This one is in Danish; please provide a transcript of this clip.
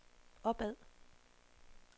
opad